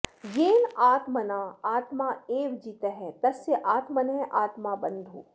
येन आत्मना आत्मा एव जितः तस्य आत्मनः आत्मा बन्धुः